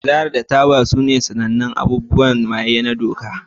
Sigari da taba sune sanannun abubuwan maye na doka.